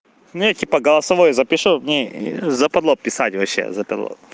ну я типа голосовое запишу мне западло писать вообще западло